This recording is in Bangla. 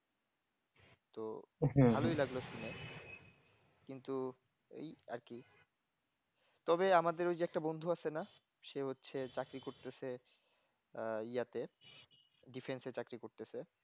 তো ভালোই লাগলো শুনে কিন্তু এই আর কি তবে আমাদের ওই যে একটা বন্ধু আছে না সে হচ্ছে চাকরি করতেছে য়াতে defence এ চাকরি করতেছে